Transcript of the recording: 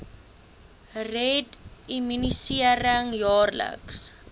red immunisering jaarliks